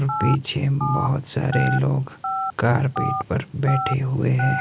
पीछे बोहोत सारे लोग कारपेट पर बैठे हुए हैं।